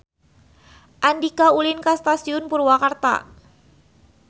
Andika ulin ka Stasiun Purwakarta